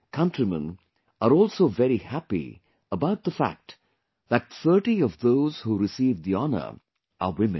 Countrymen are also very happy about the fact that 30 of those who received the honour are women